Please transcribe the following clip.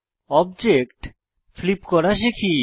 object flip করা শিখি